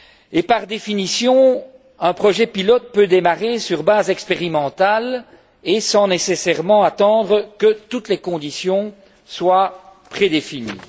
Et par définition, un projet pilote peut démarrer sur base expérimentale et sans nécessairement attendre que toutes les conditions soient prédéfinies.